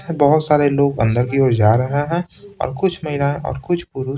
बहुत सारे लोग अंदर की ओर जा रहे हैंऔर कुछ महिलाएँ और कुछ पुरुष--